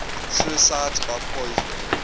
suicides by poison